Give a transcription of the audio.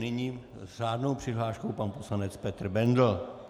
Nyní s řádnou přihláškou pan poslanec Petr Bendl.